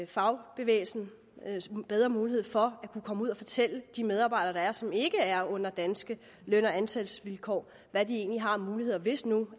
fagbevægelsen bedre mulighed for at kunne komme ud og fortælle de medarbejdere der er som ikke er under danske løn og ansættelsesvilkår hvad de egentlig har af muligheder hvis nu